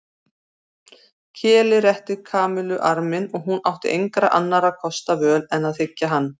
Keli rétti Kamillu arminn og hún átti engra annarra kosta völ en að þiggja hann.